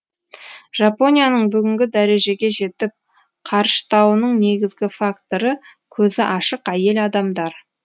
жапонияның бүгінгі дәрежеге жетіп қарыштауының негізгі факторы көзі ашық әйел адамдар